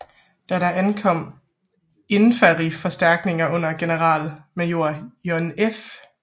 Da der ankom infanteriforstærkninger under generalmajor John F